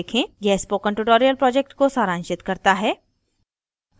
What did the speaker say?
यह spoken tutorial project को सारांशित करता है